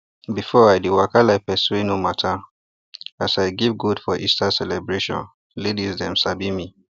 before i dey waka like person wey no matter as i give goat for easter celebration laidis dem sabi me